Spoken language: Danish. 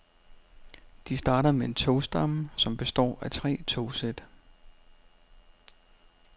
De starter med en togstamme, som består af tre togsæt.